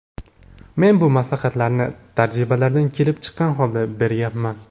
Men bu maslahatlarni tajribalardan kelib chiqqan holda berayapman.